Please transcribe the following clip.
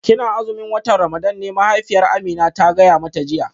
Kina azumin watan Ramadan ne mahaifiyar Amina ta gaya mata jiya